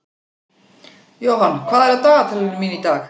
Johan, hvað er á dagatalinu mínu í dag?